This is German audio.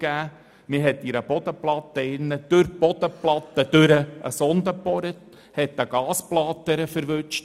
Dort wurde durch die Bodenplatte hindurch eine Sonde gebohrt und dabei eine Gasblase erwischt.